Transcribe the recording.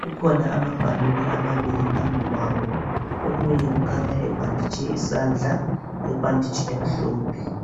Kukhona amaballon amabili phambi kwabo. Omunye ukhanya ebhanditshe isandla, ngebhanditshi emhlophe.